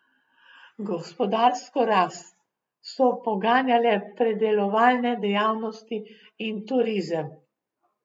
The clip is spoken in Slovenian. Gospodarsko rast so poganjale predelovalne dejavnosti in turizem.